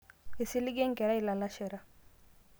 eisiliga enkerai ilalashera